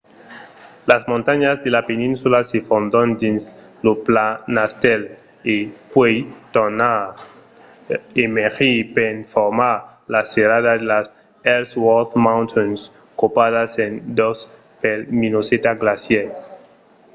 las montanhas de la peninsula se fondon dins lo planastèl e puèi tornan emergir per formar la serrada de las ellsworth mountains copadas en dos pel minnesota glacier